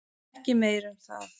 Ekki meir um það.